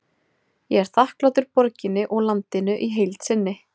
Ég er þakklátur borginni og landinu í heild sinni.